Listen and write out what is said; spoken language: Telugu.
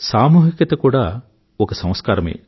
సామూహికత కూడా ఒక సంస్కారమే